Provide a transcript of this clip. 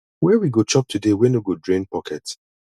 where we go chop today wey no go drain pocket